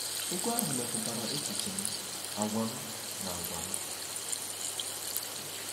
Egwú ahụ metụtara echiche m, àgwà m, na àgwà m.